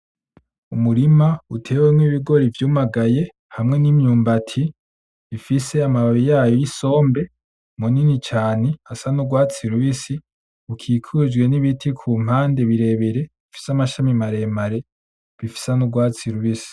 Umurima utewemwo ibigori vyumagaye, hamwe n'imyumbati ifise amababi yayo y'isombe manini cane, asa nurwatsi rubisi. Ukikujwe n'ibiti kumpande birebire bifise amashami maremare bisa n'urwatsi rubisi.